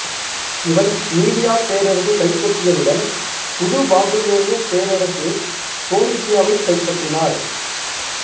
இவன் மீடியாப் பேரரசைக் கைப்பற்றியதுடன் புது பாபிலோனியப் பேரரசு போனீசியாவைக் கைபபற்றினார்